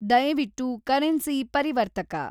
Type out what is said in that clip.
ದಯವಿಟ್ಟು ಕರೆನ್ಸಿ ಪರಿವರ್ತಕ